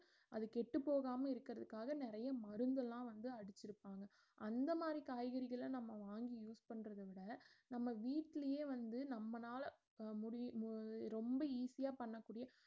அது கெட்டுப்போகாம இருக்கிறதுக்காக நெறைய மருந்து எல்லாம் வந்து அடிச்சுருப்பாங்க அந்த மாறி காய்கறிகள நாம வாங்கி use பண்றதுவிட நம்ம வீட்டுலையே வந்து நம்மனால முடி~ மு~ ரொம்ப easy யா பண்ணக்கூடிய